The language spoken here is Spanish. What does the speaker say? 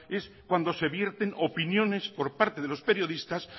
es cuando se vierten opiniones por parte de los periodistas